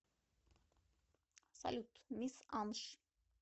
салют мисс анш